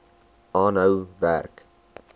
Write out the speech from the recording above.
aanhou werk